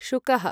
शुकः